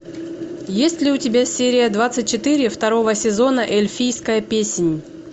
есть ли у тебя серия двадцать четыре второго сезона эльфийская песнь